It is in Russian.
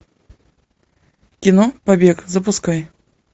кино побег запускай